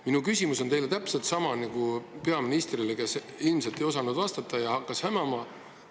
Minu küsimus on teile täpselt sama, mis peaministrile, kes ilmselt ei osanud vastata ja hakkas hämama.